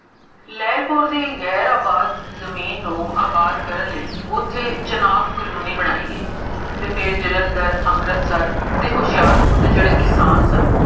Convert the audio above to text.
ਲੈਲਪੁਰ ਦੀ ਗੈਰ ਆਬਾਜ਼ ਜਮੀਨ ਨੂੰ ਆਬਾਦ ਕਰਨ ਲਈ ਓਥੇ, ਚੁਣਾਵ colony ਬਣਾਈ ਗਈ, ਤੇ ਫੇਰ ਜਲੰਧਰ, ਅਮ੍ਰਤਸਰ ਤੇ ਹੋਸ਼ਿਆਰਪੁਰ ਦੇ ਜੇਹੜੇ ਕਿਸਾਨ ਸਨ